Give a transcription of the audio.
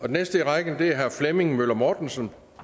den næste i rækken er herre flemming møller mortensen